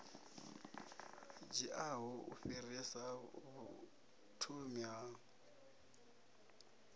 dziaho u fhirsisa vhuthomi ha